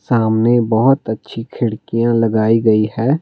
सामने बहुत अच्छी खिड़कियाँ लगाई गई है।